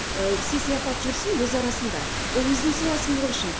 ы сый сияпат жүрсін өз арасында ол өзінің сыйласымдылығы үшін